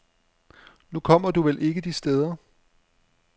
Nu kommer du vel ikke de steder.